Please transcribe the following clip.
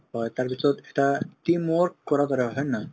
হয়, তাৰপিছত এটা team work কৰাৰ দৰে হয় হয় নে নহয়